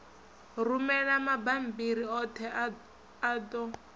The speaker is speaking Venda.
rumela mabammbiri oṱhe a ṱo